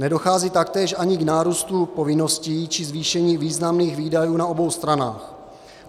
Nedochází taktéž ani k nárůstu povinností či zvýšení významných výdajů na obou stranách.